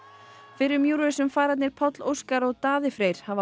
fyrrum Eurovision Páll Óskar og Daði Freyr hafa